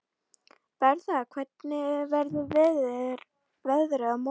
Bertha, hvernig verður veðrið á morgun?